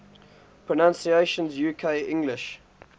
pronunciations uk english